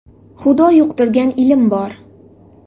Xudo yuqtirgan ilm bor!